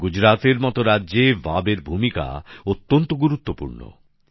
গুজরাতের মতো রাজ্যে ভাভের ভূমিকা অত্যন্ত গুরুত্বপূর্ণ